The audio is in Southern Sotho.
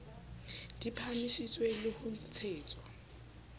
di phahamiswe le ho ntshetswa